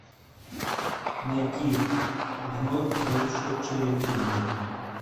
найти вновь вышедшие фильмы